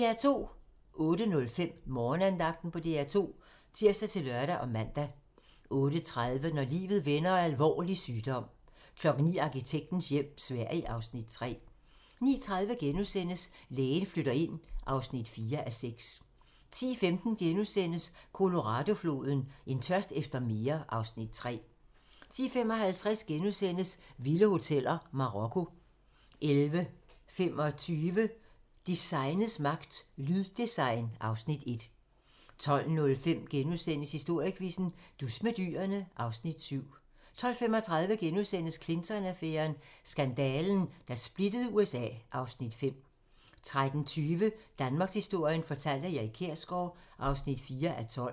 08:05: Morgenandagten på DR2 (tir-lør og man) 08:30: Når livet vender: Alvorlig sygdom 09:00: Arkitektens hjem - Sverige (Afs. 3) 09:30: Lægen flytter ind (4:6)* 10:15: Colorado-floden: En tørst efter mere (Afs. 3)* 10:55: Vilde hoteller: Marokko * 11:25: Designets magt - Lyddesign (Afs. 1) 12:05: Historiequizzen: Dus med dyrene (Afs. 7)* 12:35: Clinton-affæren: Skandalen, der splittede USA (Afs. 5)* 13:20: Danmarkshistorien fortalt af Erik Kjersgaard (4:12)